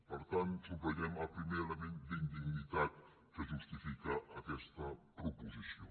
per tant subratllem el primer element d’indignitat que justifica aquesta proposició